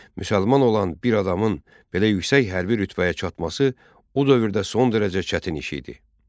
Müsəlman olan bir adamın belə yüksək hərbi rütbəyə çatması o dövrdə son dərəcə çətin iş idi.